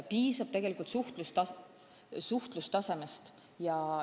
Piisab tegelikult suhtlustasemest.